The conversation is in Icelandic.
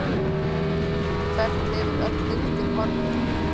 Hvert hefur öll lyktin horfið?